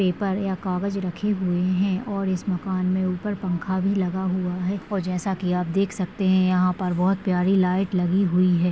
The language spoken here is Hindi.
पेपर या कागज रखे हुए है और इस मकान मे उपर पंखा भी लगा हुआ है। और जैसा कि आप देख सखते है। यहा पर बहुत प्यारी लाइट लगी हुई है।